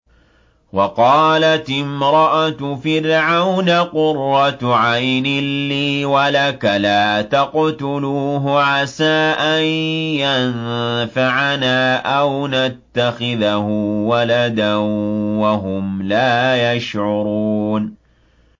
وَقَالَتِ امْرَأَتُ فِرْعَوْنَ قُرَّتُ عَيْنٍ لِّي وَلَكَ ۖ لَا تَقْتُلُوهُ عَسَىٰ أَن يَنفَعَنَا أَوْ نَتَّخِذَهُ وَلَدًا وَهُمْ لَا يَشْعُرُونَ